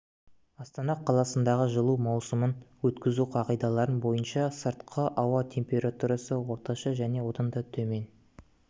астана қаласындағы жылу маусымын өткізу қағидаларын бойынша сыртқы ауа температурасы орташа және одан да төмен